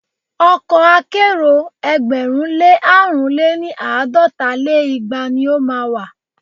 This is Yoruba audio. Ọkọ̀ akẹ́rò ẹgbẹ̀rún lé àrún lé ní- àádọ́ta lé igba ni o má a wà.